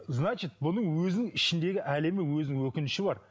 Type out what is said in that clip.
значить бұның өзінің ішіндегі әлемі өзінің өкініші бар